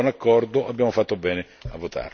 È un buon accordo, abbiamo fatto bene a votarlo.